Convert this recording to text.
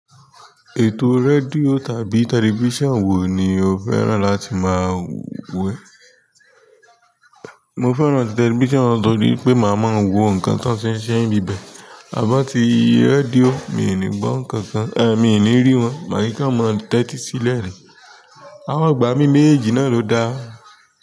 Ètò rédíò tàbí television wo ni o fẹ́ràn láti máa wo? Mo fẹ́ràn television torí pé màá máa ń wo nǹkan tó ń fe se n bi bẹ́, àmọ̀ ti radíò mi ò ní gbọ́ nǹkan kan, è mi ò ní rí wọn, màá ní kan mo tẹ́tí sílẹ̀ ni. Amo ìgbà mí méjèèjì náà ló da.